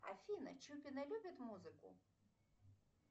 афина чупины любят музыку